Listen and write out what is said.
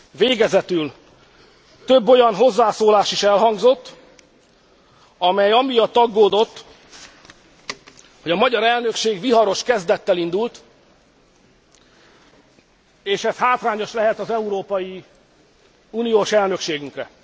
Végezetül, több olyan hozzászólás is elhangzott, amely amiatt aggódott, hogy a magyar elnökség viharos kezdettel indult, és ez hátrányos lehet az európai uniós elnökségünkre.